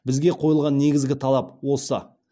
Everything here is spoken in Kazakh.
бізге қойылған негізгі талап осы